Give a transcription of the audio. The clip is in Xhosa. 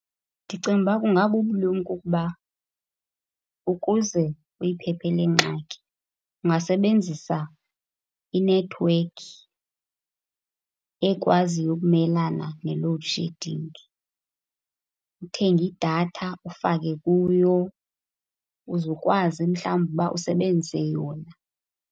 Ndicinga ukuba kungabubulumko ukuba ukuze uyiphephe le ngxaki ungasebenzisa inethiwekhi ekwaziyo ukumelana ne-load shedding, uthenge idatha, ufake kuyo. Uze ukwazi mhlawumbi uba usebenzise yona.